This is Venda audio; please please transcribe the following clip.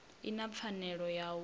i na pfanelo ya u